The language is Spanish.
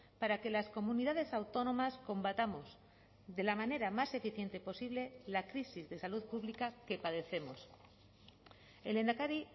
para que las comunidades autónomas combatamos de la manera más eficiente posible la crisis de salud pública que padecemos el lehendakari